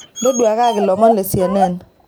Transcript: ntoduakaki lomon le c. n.n